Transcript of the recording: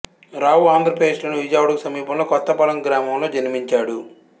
రావు ఆంధ్రప్రదేశ్ లోని విజయవాడకు సమీపంలోని కొత్తపాలెం గ్రామంలో జన్మించాడు